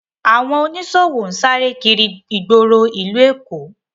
Awọn oniṣowo n sáré kiri igboro ìlú Èkó